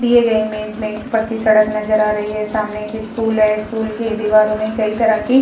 दिए गए इमेज में एक पक्की सड़क नजर आए है। सामने एक स्कूल है। स्कूल के दीवारों में तो कई तरह की --